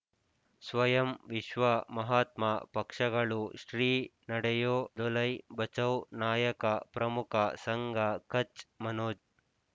ಸ್ವಯಂ ವಿಶ್ವ ಮಹಾತ್ಮ ಪಕ್ಷಗಳು ಶ್ರೀ ನಡೆಯೂ ದಲೈ ಬಚೌ ನಾಯಕ ಪ್ರಮುಖ ಸಂಘ ಕಚ್ ಮನೋಜ್